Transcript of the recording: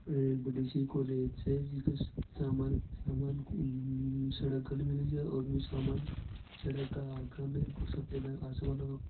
यह एक बड़ी सी कोलेज छे समे-सामे ने सड़क घल मेलि छे और वो सामे ने सड़क आगे ने सफ़ेद --